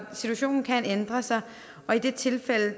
situationen kan ændre sig og i det tilfælde